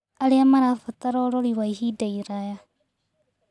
Arĩa marabatara ũrori wa ihinda iraya